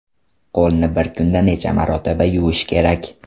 Qo‘lni bir kunda necha marotaba yuvish kerak?.